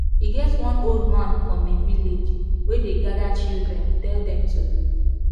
e get one old man for me village wey dey gada children tell dem tori